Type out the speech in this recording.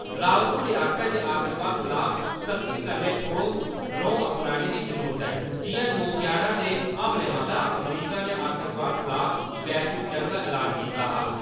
रावत होरें आखेआ जे आतंकवाद खलाफ सख्ती कन्नै ठोस रौंह् अपनाने दी जरूरत ऐ, जि'यां नौ यारां दे हमले मगरा अमरीका ने आतंकवाद खलाफ वैश्विक जंग दा ऐलान कीता हा ।